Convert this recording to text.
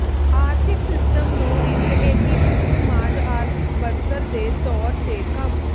ਆਰਥਿਕ ਸਿਸਟਮ ਨੂੰ ਇੱਕ ਏਕੀਕ੍ਰਿਤ ਸਮਾਜ ਆਰਥਿਕ ਬਣਤਰ ਦੇ ਤੌਰ ਤੇ ਕੰਮ